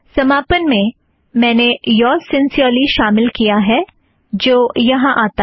समापन में मैंने योर्ज़ सिंसीयरली शामिल किया है जो यहाँ आता है